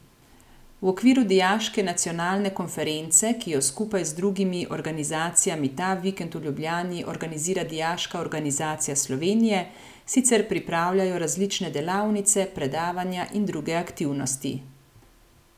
V okviru Dijaške nacionalne konference, ki jo skupaj z drugimi organizacijami ta vikend v Ljubljani organizira Dijaška organizacija Slovenije, sicer pripravljajo različne delavnice, predavanja in druge aktivnosti.